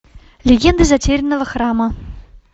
легенды затерянного храма